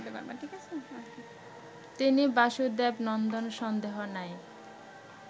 তিনি বাসুদেবনন্দন সন্দেহ নাই